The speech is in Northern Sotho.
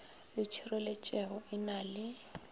le tšhireletšego e na le